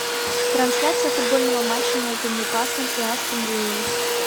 трансляция футбольного матча между ньюкаслом и астон виллой